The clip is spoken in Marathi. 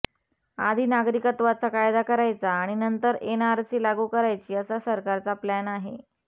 आधी नागरिकत्वाचा कायदा करायचा आणि नंतर एनआरसी लागू करायची असा सरकारचा प्लॅन आहे